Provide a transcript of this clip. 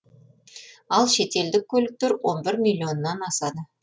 ал шетелдік көліктер он бір миллионнан асады